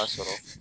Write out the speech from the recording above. A sɔrɔ